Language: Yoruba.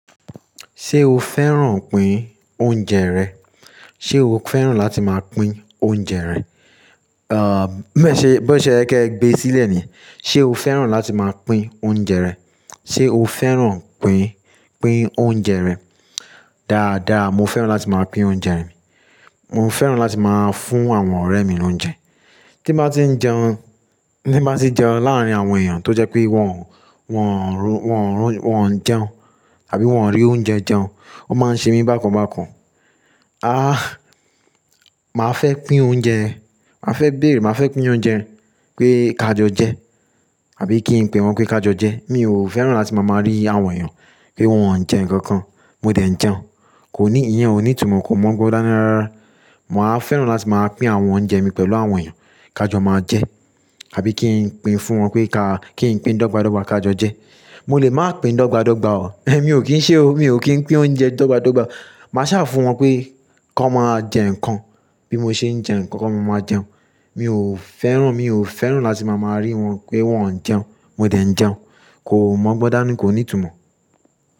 Ṣé o fẹ́ràn pín oúnjẹ rẹ? Ṣé o fẹ́ràn láti máa pín oúnjẹ rẹ? À, bí ó ṣe ẹ́ kẹ gbe sílẹ̀ ni. Ṣé o fẹ́ràn láti máa pín oúnjẹ rẹ? Ṣé o fẹ́ràn pín, pín oúnjẹ rẹ? Dáadáa, mo fẹ́ràn láti máa pín oúnjẹ mi. Mo fẹ́ràn láti máa fún àwọn ọ̀rẹ́ mi lóúnjẹ. Tí màá ti ń jẹun, tí màá ti jẹun láàárín àwọn èèyàn tó jẹ́ pé wọ́n, wọ́n ò rún, wọ́n ò jẹun tàbí wọ́n ò rí oúnjẹ jẹun, ó máa ń ṣe mí bákan bákan. A! Màá fẹ́ pín oúnjẹ, màá fẹ́ bèrè, màá fẹ́ pín oúnjẹ pé ká jọ jẹ tàbí kí n pè wọ́n pé ká jọ jẹ. Mi ò fẹ́ràn láti máa máa rí àwọn èèyàn pé wọ́n ń jẹ nǹkan kan, mo dẹ̀ ń jẹun, kò ní ìyen, kò ní ìtumọ̀, kò mọ̀ gbọ́ dánira. Màá fẹ́ràn láti máa pín àwọn oúnjẹ mi pẹ̀lú àwọn èèyàn ká jọ máa jẹ tàbí kí n pín fún wọn pé ká, kí n pín dọ́gba dọ́gba ká jọ jẹ. Mo lè máa pín dọ́gba dọ́gba o. Mi ò kí ń ṣe o, mi ò kí ń pín oúnjẹ dọ́gba dọ́gba. Màá ṣà fún wọn pé kí wọ́n máa jẹ nǹkan bí mo ṣe ń jẹ nǹkan kí wọ́n máa jẹun. Mi ò fẹ́ràn, mi ò fẹ́ràn láti máa máa rí wọn pé wọ́n ń jẹun, mo dẹ̀ ń jẹun, kò mọ̀ gbọ́ dání, kò ní ìtumọ̀.